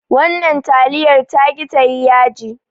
Wannan taliyar taki tayi yaji